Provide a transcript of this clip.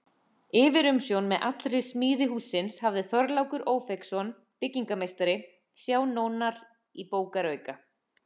Yfirumsjón með allri smíði hússins hafði Þorlákur Ófeigsson, byggingarmeistari, sjá nánar í bókarauka.